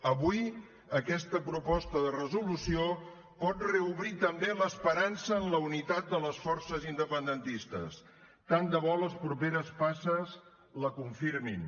avui aquesta proposta de resolució pot reobrir també l’esperança en la unitat de les forces independentistes tant de bo les properes passes la confirmin